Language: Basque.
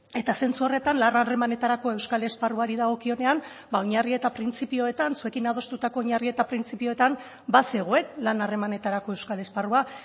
eta zentzu horretan lan harremanetarako euskal esparruari dagokionean ba oinarri eta printzipioetan zuekin adostutako oinarri eta printzipioetan bazegoen lan harremanetarako euskal esparrua